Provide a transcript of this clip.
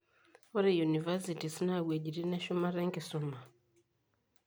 Ore universities naa iwuejitin eshumata enkisuma.